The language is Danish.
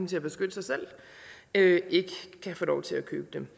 til at beskytte sig selv ikke kan få lov til at købe det